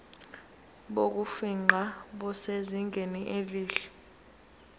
bokufingqa busezingeni elihle